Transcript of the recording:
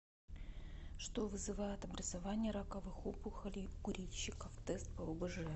что вызывает образование раковых опухолей у курильщиков тест по обж